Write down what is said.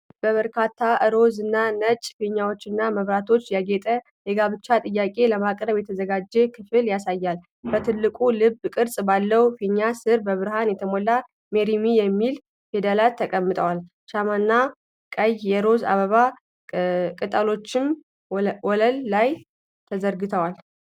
በበርካታ ሮዝ እና ነጭ ፊኛዎችና መብራቶች ያጌጠ የጋብቻ ጥያቄ ለማቅረብ የተዘጋጀ ክፍልን ያሳያል። በትልቁ የልብ ቅርጽ ባለው ፊኛ ስር በብርሃን የተሞሉ “ሜሪ ሚ” የሚሉ ፊደላት ተቀምጠዋል፤ ሻማና ቀይ የሮዝ አበባ ቅጠሎችም ወለሉ ላይ ተዘርግፈዋል።